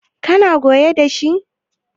kana goyo da shi?